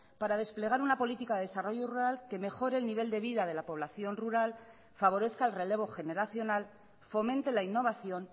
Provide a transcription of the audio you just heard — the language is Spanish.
para desplegar una política de desarrollo rural que mejore el nivel de vida de la población rural favorezca el relevo generacional fomente la innovación